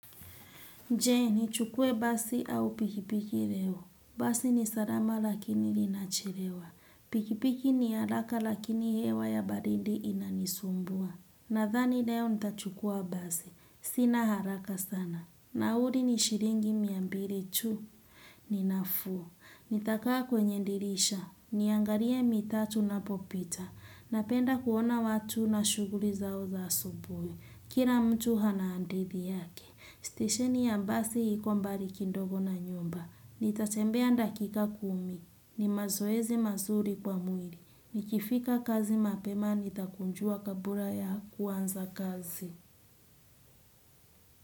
Je nichukue basi au pikipiki leo. Basi ni salama lakini linachelewa. Pikipiki ni haraka lakini hewa ya baridi inanisumbua. Nadhani leo nitachukua basi. Sina haraka sana. Nauli ni shilingi mia mbili tu. Ninafuu. Nitakaa kwenye dirisha. Niangalie mitaa tunapopita. Napenda kuona watu na shughuli zao za asubuhi. Kila mtu ana hadithi yake. Station ya basi iko mbali kidogo na nyumba. Nitatembea dakika kumi. Ni mazoezi mazuri kwa mwili. Nikifika kazi mapema nitakunjua kabla ya kuanza kazi.